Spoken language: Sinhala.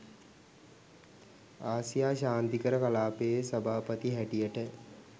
ආසියා ශාන්තිකර කලාපයේ සභාපති හැටියට